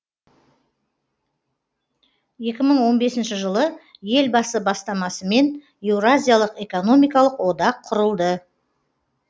екі мың он бесінші жылы елбасы бастамасымен еуразиялық экономикалық одақ құрылды